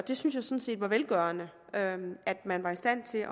jeg synes det var velgørende at at man var i stand til